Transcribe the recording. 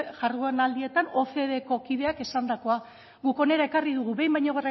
jardunaldietan ocdeko kideak esandakoak guk ona ekarri dugu behin baino